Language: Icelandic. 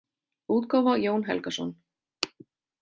útgáfa Jón Helgason.